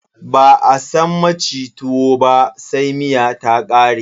Ba a san maci tuwo ba sai miya ta ƙare.